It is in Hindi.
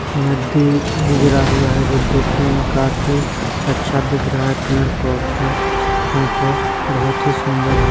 नदी गुजरा हुआ है जो देखने काफी अच्छा दिख रहा है पेड़ पौधे है तो बहुत ही सुंदर है।